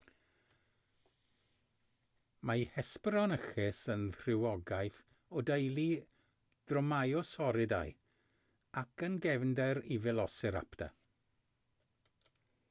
mae hesperonychus yn rhywogaeth o deulu dromaeosauridae ac yn gefnder i felociraptor